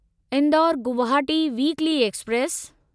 Indore Guwahati weekly express